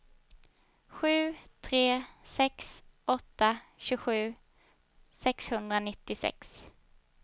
sju tre sex åtta tjugosju sexhundranittiosex